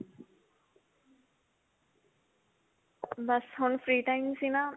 ਬੱਸ ਹੁਣ free time ਸੀ ਨਾ